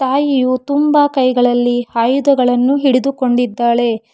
ತಾಯಿಯು ತುಂಬ ಕೈಗಳ್ಳಿ ಆಯುಧಗಳನ್ನು ಹಿಡಿದುಕೊಂಡಿದ್ದಾಳೆ.